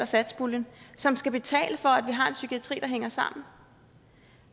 satspuljen som skal betale for at vi har en psykiatri der hænger sammen